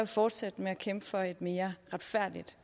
fortsætte med at kæmpe for et mere retfærdigt